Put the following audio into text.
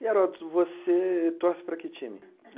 E, Heródoto, você torce para que time?